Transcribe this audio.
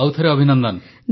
ଆଉଥରେ ଅଭିନନ୍ଦନ